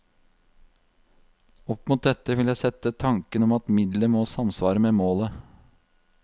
Opp mot dette vil jeg sette tanken om at middelet må samsvare med målet.